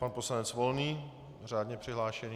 Pan poslanec Volný, řádně přihlášený.